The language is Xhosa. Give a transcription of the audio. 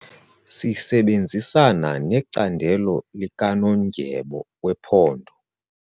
Sisebenzisana necandelo likanondyebo wephondo.